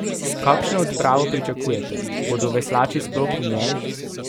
Kakšno odpravo pričakujete, bodo veslači sploh v njej?